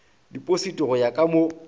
dipositi go ya ka mo